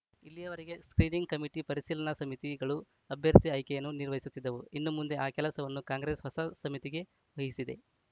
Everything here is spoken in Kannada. ಇಲ್ಲಿವರೆಗೆ ಸ್ಕ್ರೀನಿಂಗ್‌ ಕಮಿಟಿ ಪರಿಶೀಲನಾ ಸಮಿತಿಗಳು ಅಭ್ಯರ್ಥಿ ಆಯ್ಕೆಯನ್ನು ನಿರ್ವಹಿಸುತ್ತಿದ್ದವು ಇನ್ನು ಮುಂದೆ ಆ ಕೆಲಸವನ್ನು ಕಾಂಗ್ರೆಸ್‌ ಹೊಸ ಸಮಿತಿಗೆ ವಹಿಸಿದೆ